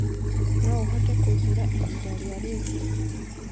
no ũhote kunjĩĩra ĩhĩnda rĩa riu